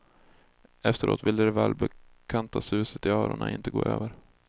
Efteråt ville det välbekanta suset i öronen inte gå över.